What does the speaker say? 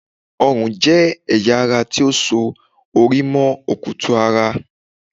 Ọrùn jẹ́ ẹ̀yà ara ti ó so orí mọ́ okutu-ara